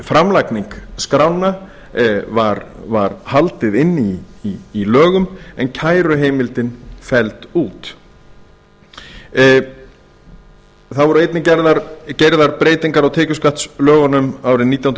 framlagningu skránna var haldið inni í lögum en kæruheimildin felld út það voru einnig gerðar breytingar á tekjuskattslögunum árið nítján